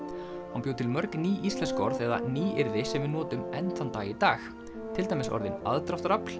hann bjó til mörg ný íslensk orð eða nýyrði sem við notum enn þann dag í dag til dæmis orðin aðdráttarafl